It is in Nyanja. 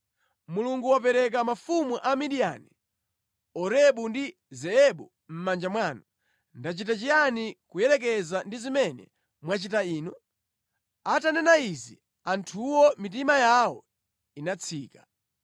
Mulungu wapereka mafumu a Midiyani, Orebu ndi Zeebu mʼmanja mwanu. Ndachita chiyani kuyerekeza ndi zimene mwachita inu?” Atanena izi, anthuwo mitima yawo inatsika.